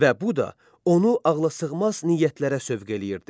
Və bu da onu ağlasığmaz niyyətlərə sövq eləyirdi.